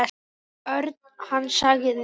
Örn. Hann sagði.